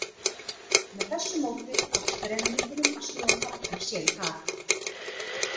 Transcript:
Með þessu móti tókst þremenningunum að snúa taflinu sér í hag.